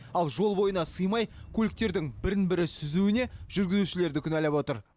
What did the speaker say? ал жол бойына сыймай көліктердің бірін бірі сүзуіне жүргізушілерді кінәлап отыр